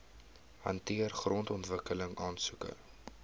hanteer grondontwikkeling aansoeke